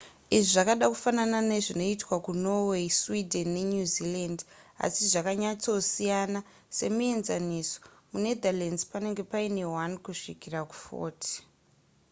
izvi zvakada kufanana nezvinoitwa kunorway sweden nenewzealand asi zvakanyatsosiyana semuenzaniso munetherlands panenge paine 1 kusvikira ku40